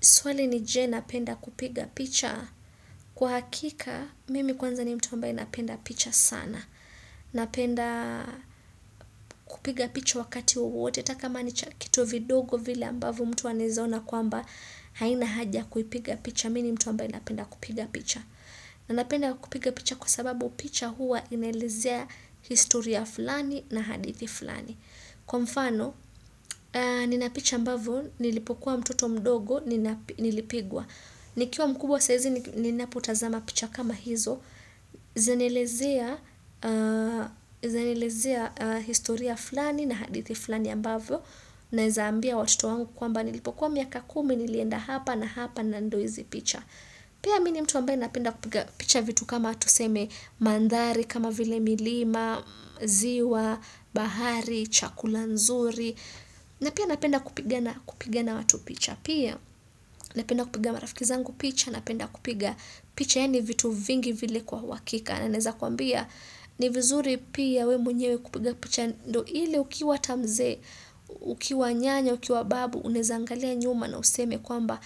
Swali ni je napenda kupiga picha. Kwa hakika, mimi kwanza ni mtu ambaye napenda picha sana. Napenda kupiga picha wakati wowote. Hata kama ni cha kitu vidogo vile ambavo mtu anaeza ona kwamba haina haja kuipiga picha. Mi ni mtu ambaye napenda kupiga picha. Na napenda kupiga picha kwa sababu picha huwa inaelezea historia fulani na hadithi fulani. Kwa mfano, nina picha ambavo, nilipokuwa mtoto mdogo, nilipigwa. Nikiwa mkubwa saizi, ninapotazama picha kama hizo, zanielezea historia fulani na hadithi fulani ambavyo, naeza ambia watoto wangu kwamba nilipokuwa miaka kumi, nilienda hapa na hapa na ndo izi picha. Pia mi ni mtu ambaye napenda kupiga picha vitu kama tuseme manthari kama vile milima, ziwa, bahari, chakula nzuri na pia napenda kupiga na watu picha pia napenda kupiga marafiki zangu picha napenda kupiga picha yaani vitu vingi vile kwa uhakika na naeza kuambia ni vizuri pia we mwenyewe kupiga picha ndo ile ukiwa ata mzee ukiwa nyanya ukiwa babu unaeza angalia nyuma na useme kwamba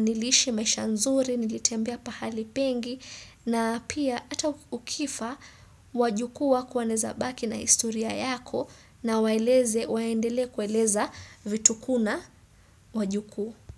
niliishi maisha nzuri nilitembea pahali pengi na pia ata ukifa wajukuu wako wanaeza baki na historia yako na waeleze, waendelee kueleza vitukuu na wajukuu.